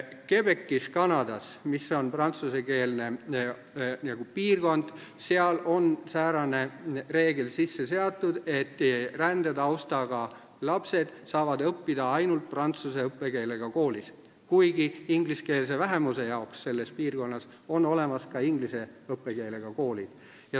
Québecis Kanadas, mis on prantsuskeelne piirkond, on sisse seatud säärane reegel, et rändetaustaga lapsed saavad õppida ainult prantsuse õppekeelega koolis, kuigi ingliskeelse vähemuse jaoks selles piirkonnas on olemas ka inglise õppekeelega koolid.